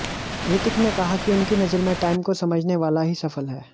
रितिक ने कहा कि उनकी नजर में टाइम को समझने वाला ही सफल है